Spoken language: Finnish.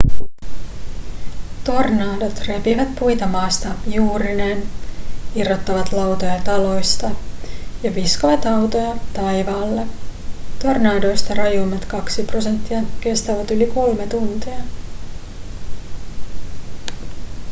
tornadot repivät puita maasta juurineen irrottavat lautoja taloista ja viskovat autoja taivaalle tornadoista rajuimmat kaksi prosenttia kestävät yli kolme tuntia